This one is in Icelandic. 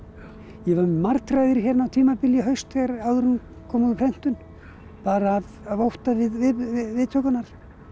ég var með martraðir á tímabili í haust áður en hún kom úr prentun bara af ótta við viðtökurnar